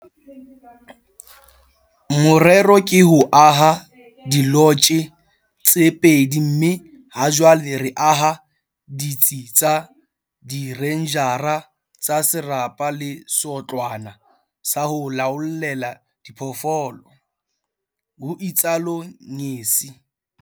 "Morero ke ho aha dilotje tse pedi mme hajwale re aha ditsi tsa direnjara tsa serapa le seotlwana sa ho laollela diphoofolo," ho itsalo Ngesi.